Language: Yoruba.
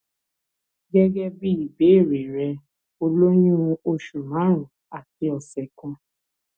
gẹgẹ bí ìbéèrè rẹ o lóyún oṣù márùnún àti ọsẹ kan